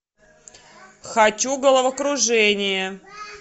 хочу головокружение